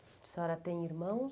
A senhora tem irmãos?